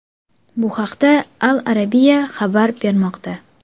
Bu haqda Al Arabia xabar bermoqda .